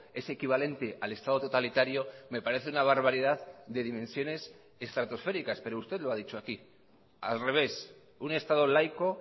es equivalente al estado totalitario me parece una barbaridad de dimensiones estratosféricas pero usted lo ha dicho aquí al revés un estado laico